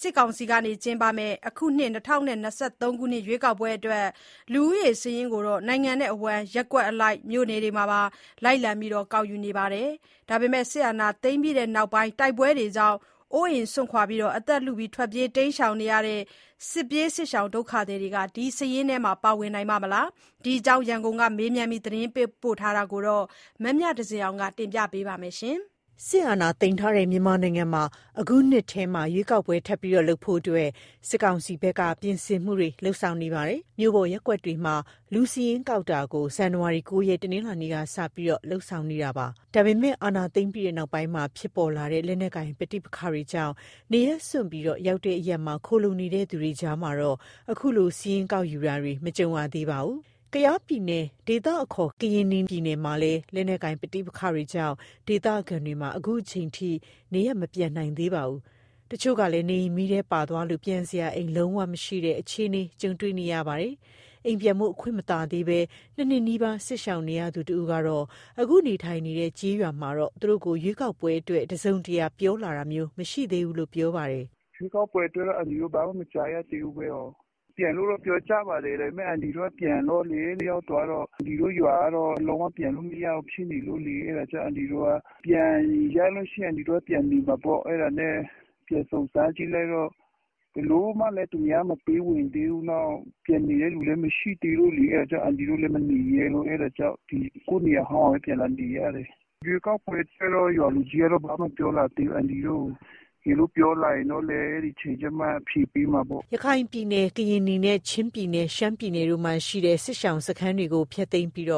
စစ်ကောင်စီက ကျင်းပမယ့် အခုနှစ် ၂၀၂၃ ရွေးကောက်ပွဲအတွက် လူဦးရေစာရင်းကို နိုင်ငံအဝှမ်း ရပ်ကွက်အလိုက် မြို့ပေါ်တွေမှာ လိုက်လံကောက်ယူနေပါတယ်။ စစ်အာဏာသိမ်းပြီးနောက်ပိုင်း တိုက်ပွဲတွေကြောင့် နေအိမ်စွန့်ခွာ ထွက်ပြေးနေကြရတဲ့ စစ်ပြေးဒုက္ခသည်တွေက ဒီစာရင်းထဲမှာ ပါဝင်နိုင်ပါ့မလား။ ဒီအကြောင်း ရန်ကုန်က မေးမြန်းသတင်းပေးပို့ချက်ကို မမြသဇင်အောင်က ပြောပြမှာပါ။ စစ်အာဏာသိမ်းထားတဲ့ မြန်မာနိုင်ငံမှာ အခုနှစ်ထဲ ရွေးကောက်ပွဲထပ်ပြီး လုပ်ဖို့အတွက် စစ်ကောင်စီဘက်က ပြင်ဆင်မှုတွေ လုပ်ဆောင်နေပါပြီ။ မြို့ပေါ်ရပ်ကွက်တွေမှာ လူစာရင်းကောက်ယူတာကို ဇန်နဝါရီလ ၉ ရက် တနင်္လာနေ့ကစပြီး လုပ်ဆောင်နေတာပါ။ ဒါပေမဲ့လည်း အာဏာသိမ်းပြီးနောက်ပိုင်း ဖြစ်ပေါ်လာတဲ့ လက်နက်ကိုင် ပဋိပက္ခတွေကြောင့် နေရပ်စွန့်ပြီး ရောက်တဲ့အရပ်မှာ ခိုလှုံနေကြသူတွေအကြားမှာတော့ အခုလို စာရင်းကောက်ယူတာတွေ မကြုံရသေးပါဘူး။ ကယားပြည်နယ် ဒေသအခေါ် ကရင်နီပြည်မှာလည်း လက်နက်ကိုင် ပဋိပက္ခတွေကြောင့် ဒေသခံတွေမှာ အခုချိန်ထိ နေရပ်ဆီ မပြန်နိုင်ကြပါဘူး။ တချို့ကလည်း နေအိမ်မီးထဲပါသွားလို့ ပြန်စရာအိမ် လုံးဝမရှိတော့တဲ့ အခြေအနေ ကြုံတွေ့နေရပါတယ်။ အိမ်ပြန်ဖို့ အခွင့်မသာသေးဘဲ ၂ နှစ်နီးပါး စစ်ရှောင်နေရသူ တဦးကတော့ အခုနေထိုင်နေတဲ့ ကျေးရွာမှာတော့ သူတို့ကို ရွေးကောက်ပွဲအတွက် တစုံတရာ ပြောလာတာမျိုး မရှိသေးဘူးလို့ ပြောပါတယ်။ "ရွေးကောက်ပွဲ အတွက်တော့ အန်တီတို့ ဘာမှ မကြားရသေးဘူး။ ပြန်လို့တော့ ပြောကြပါတယ်။ ဒါပေမဲ့ အန်တီတို့ ပြန်တော့လေ ရောက်သွားတော့ အန်တီတို့ ရွာကတော့ လုံးဝပြန်လို့မရဘူး ဖြစ်နေလို့လေ။ ပြန်လို့ရရင်တော့ အန်တီတို့က ပြန်နေမှာပေါ့။ ဒါပေမဲ့ ပြန်စုံစမ်းကြည့်လိုက်တော့ ဘယ်လိုမှလည်း သူများမပေးဝင်သေးဘူး။ ပြန်နေတဲ့လူလည်း မရှိသေးဘူးလေ။ အဲဒါကြောင့် အန်တီတို့လည်း မနေရဲဘူး။ ကိုယ့်နေရာဟောင်းမှာပဲ ပြန်လာနေရတယ်။ ရွေးကောက်ပွဲ အတွက်တော့ ရွာလူကြီးကတော့ ဘာမှတော့ မပြောလာသေးဘူး။ အန်တီတို့ကို တကယ်လို့ ပြောလာရင်တော့လည်း အဲဒီအချိန်ကျမှ အဖြေပေးမှာပေါ့။" ရခိုင်ပြည်နယ်၊ ကရင်နီ နဲ့ ချင်းပြည်နယ်၊ ရှမ်းပြည်နယ် တို့မှာရှိတဲ့ စစ်ရှောင်စခန်းတွေကို ဖျက်သိမ်းပြီး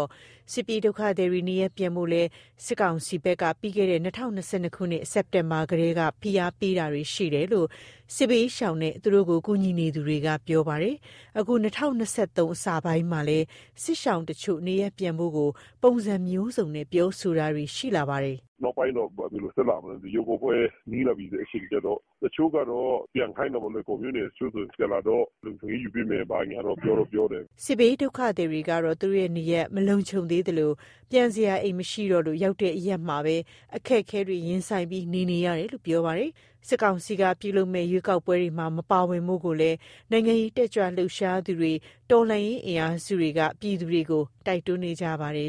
စစ်ပြေးဒုက္ခသည်တွေ နေရပ်ပြန်ကြဖို့ကိုလည်း စစ်ကောင်စီဘက်က ပြီးခဲ့တဲ့ ၂၀၂၂ ခုနှစ် စက်တင်ဘာလကတည်းက ဖိအားပေးတာတွေ ရှိခဲ့တယ်လို့ စစ်ဘေးရှောင်နဲ့ သူတို့ကို ကူညီနေသူတွေက ပြောပါတယ်။ အခု ၂၀၂၃ နှစ်အစပိုင်းမှာလည်း စစ်ရှောင်တချို့ နေရပ်ပြန်ကြဖို့ကို ပုံစံမျိုးစုံနဲ့ ပြောဆိုတာတွေ ရှိလာပါတယ်။ "နောက်ပိုင်းတော့ ဘယ်လိုဖြစ်လာမလဲ မသိဘူး။ ရွေးကောက်ပွဲ နီးလာတဲ့ အချိန်ကျတော့ တချို့ကတော့ ပြန်ခိုင်းတာပေါ့နော်၊ လွိုင်ကော်မြို့နယ်ထဲ။ တချို့ဆိုရင် ပြန်လာတော့၊ လုံခြုံရေးယူပေးမယ် ဘာညာတော့ ပြောတော့ပြောတယ်။" စစ်ဘေးဒုက္ခသည်တွေကတော့ သူတို့ရဲ့ နေရပ်မလုံခြုံသေးသလို ပြန်စရာအိမ် မရှိတော့လို့ ရောက်တဲ့အရပ်မှာပဲ အခက်အခဲတွေ ရင်ဆိုင်ပြီး နေနေကြတယ်လို့ ပြောပါတယ်။ စစ်ကောင်စီက ပြုလုပ်မယ့် ရွေးကောက်ပွဲမှာ မပါဝင်ကြဖို့ကိုလည်း၊ နိုင်ငံရေးတတ်ကြွလှုပ်ရှားသူတွေ တော်လှန်ရေး အင်အားစုတွေကလည်း ပြည်သူတွေကို တိုက်တွန်းနေကြပါတယ်